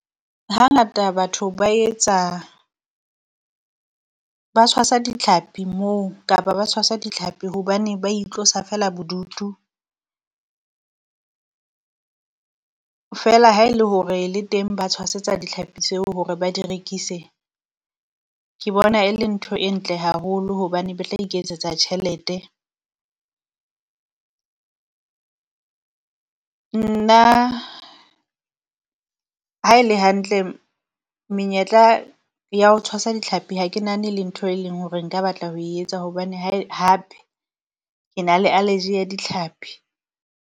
Hangata batho ba etsa ba tshwasa ditlhapi moo, kapa ba tshwasa dihlapi hobane ba itlosa feela bodutu. Feela ha e le hore le teng ba tshwasetsa ditlhapi tseo hore ba di rekise, ke bona e le ntho e ntle haholo hobane ba tla iketsetsa tjhelete. Nna ha e le hantle menyetla ya ho tshwasa ditlhapi ha ke nahane le ntho e leng hore nka batla ho etsa, hobane ha e hape ke na le alergy ya ditlhapi.